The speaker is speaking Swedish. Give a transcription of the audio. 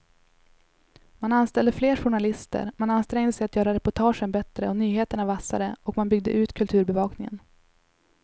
Man anställde fler journalister, man ansträngde sig att göra reportagen bättre och nyheterna vassare och man byggde ut kulturbevakningen.